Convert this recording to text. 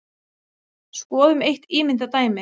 Skoðum eitt ímyndað dæmi.